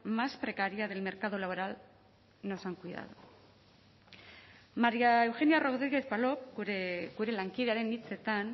más precaria del mercado laboral nos han cuidado maría eugenia rodríguez palop gure lankidearen hitzetan